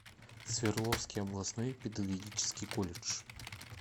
свердловский областной педагогический колледж